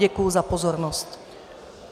Děkuji za pozornost.